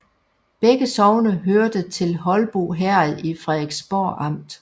Begge sogne hørte til Holbo Herred i Frederiksborg Amt